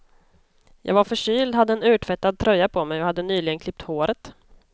Jag var förkyld, hade en urtvättad tröja på mig och hade nyligen klippt håret.